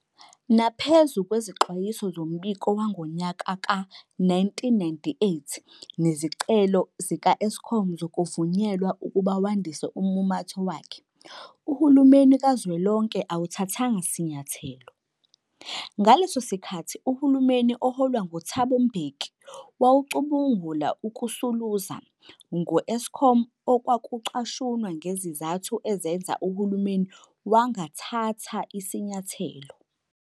Naphezu kwezixwayiso zombiko wangonyaka we-1998 nezicelo zika-Eskom zokuvunyelwa ukuba wandise ummumatho wakhe, uhulumeni kaZwelonke awuthathanga sinyathelo. Ngaleso sikhathi uhulumeni oholwa ngu-Thabo Mbeki wawucubungula ukusuluza ngo-Eskom okwakucashunwa njengesizathu esenza uhulumeni wangathatha sinyathelo.